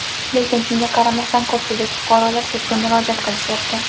Lekin shunga qaramasdan, ko‘pchilik fuqarolar sudga murojaat qilishyapti.